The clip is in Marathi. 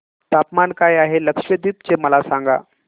तापमान काय आहे लक्षद्वीप चे मला सांगा